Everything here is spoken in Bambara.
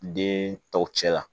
Den tɔw cɛ la